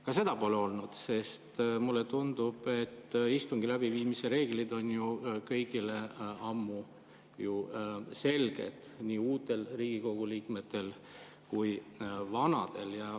Ka seda pole olnud, sest mulle tundub, et istungi läbiviimise reeglid on kõigile ammu selged, nii uutele Riigikogu liikmetele kui vanadele.